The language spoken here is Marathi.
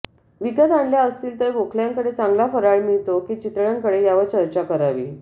विकत आणल्या असतील तर गोखल्यांकडे चांगला फराळ मिळतो की चितळ्यांकडे यावर चर्चा करावी